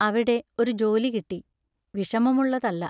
അവിടെ ഒരു ജോലി കിട്ടി; വിഷമമുള്ളതല്ല.